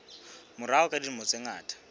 morao ka dilemo tse ngata